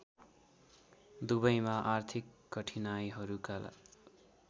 दुबईमा आर्थिक कठिनाइहरूका